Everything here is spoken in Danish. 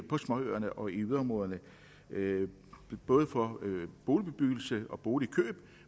på småøerne og i yderområderne både for boligbyggeri og boligkøb